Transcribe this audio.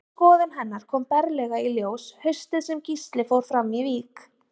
Þessi skoðun hennar kom berlega í ljós haustið sem Gísli fór fram í vík.